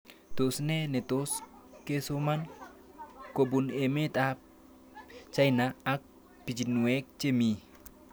Tos nee netos kesoman kopun emet ab China ak pichinwek che mii